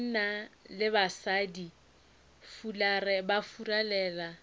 banna le basadi ba fularela